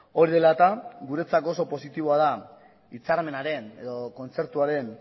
hori dela eta guretzako oso positiboa da hitzarmenaren edo kontzertuaren